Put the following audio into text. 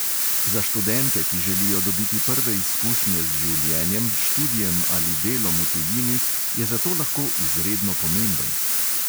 Za študente, ki želijo dobiti prve izkušnje z življenjem, študijem ali delom v tujini, je zato lahko izredno pomemben.